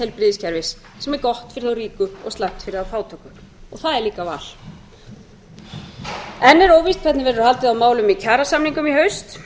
heilbrigðiskerfis sem er gott fyrir þá ríku og slæmt fyrir þá fátæku og það er líka val enn er óvíst hvernig verður haldið á málum í kjarasamningum í haust